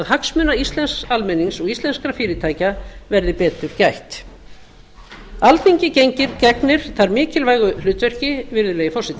hagsmuna íslensks almennings og íslenskra fyrirtækja verði betur gætt alþingi gegnir þar mikilvægu hlutverki virðulegi forseti